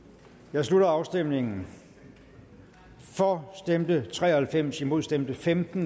her slutter afstemningen for stemte tre og halvfems imod stemte femten